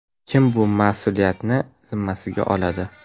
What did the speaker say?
Kim bu mas’uliyatni zimmasiga oladi?